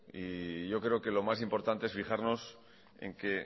y yo creo que lo más importante es fijarnos en que